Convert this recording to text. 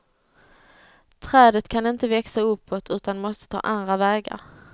Trädet kan inte växa uppåt utan måste ta andra vägar.